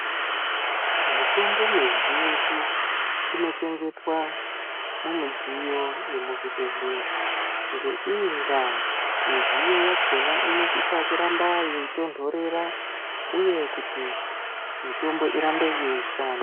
Mitombo mizhinji inochengetwa mumidziyo yemuzvibhedhleya. Ngeiyi ndaa midziyo yakhona inosisa kuramba yeitonhorera uye kuti mitombo irambe yeishanda.